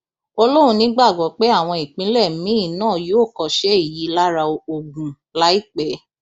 ó lóun nígbàgbọ pé àwọn ìpínlẹ míín náà yóò kọṣẹ èyí lára ogun láìpẹ